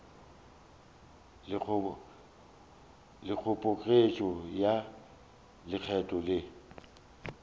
le kgoboketšo ya lekgetho le